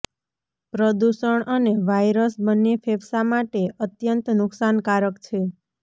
પ્રદૂષણ અને વાયરસ બંને ફેફસા માટે અત્યંત નુકશાનકારક છે